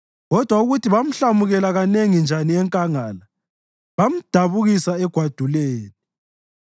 Kodwa ukuthi bamhlamukela kanengi njani enkangala, bamdabukisa egwaduleni!